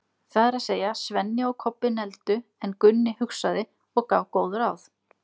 Það er að segja, Svenni og Kobbi negldu, en Gunni hugsaði og gaf góð ráð.